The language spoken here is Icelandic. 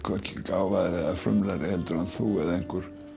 gáfaðri eða frumlegri heldur en þú eða einhver